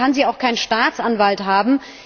Deswegen kann sie auch keinen Staatsanwalt haben.